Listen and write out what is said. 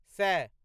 सए